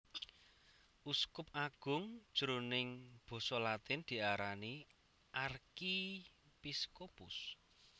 Uskup agung jroning Basa Latin diarani Archiepiscopus